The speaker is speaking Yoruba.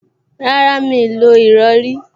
Rárá, Mí ò lo ìrọrí